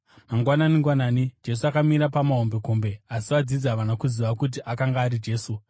Mangwanani-ngwanani, Jesu akamira pamahombekombe, asi vadzidzi havana kuziva kuti akanga ari Jesu.